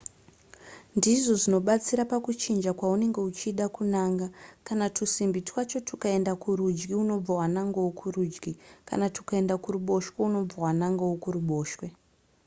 ndizvo zvinobatsira pakuchinja kwaunenge uchida kunanga kana tusimbi twacho tukaenda kurudyi unobva wanangawo kurudyi kana tukaenda kuruboshwe unobva wanangawo kuruboshwe